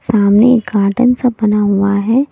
सामने एक कार्टन सा बना हुआ है।